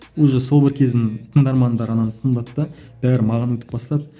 уже сол бір кездің тыңдармандары ананы тыңдады да бәрі маған өтіп бастады